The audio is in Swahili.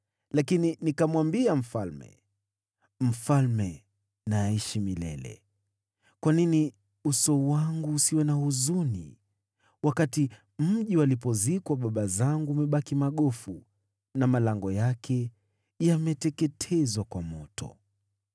lakini nikamwambia mfalme, “Mfalme na aishi milele! Kwa nini uso wangu usiwe na huzuni wakati mji walipozikwa baba zangu umebaki magofu, na malango yake yameteketezwa kwa moto?”